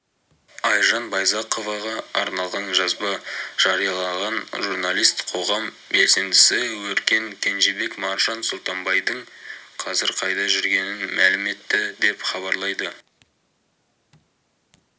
айжан байзақоваға арналған жазба жариялаған журналист қоғам белсендісі өркен кенжебек маржан сұлтанбайдың қазір қайда жүргенін мәлім етті деп хабарлайды